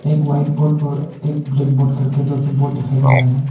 एक white board और एक ब्लैक बोर्ड करके दो बोर्ड दिखाई दे रहा है।